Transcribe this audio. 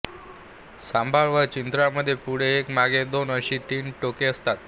सांबर व चितळांमध्ये पुढे एक व मागे दोन अशी तीन टोके असतात